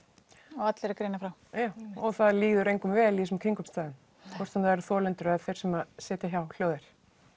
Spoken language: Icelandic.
og allir að greina frá og það líður engum vel í þessum aðstæðum hvort sem það eru þolendur eða þeir sem sitja hjá hljóðir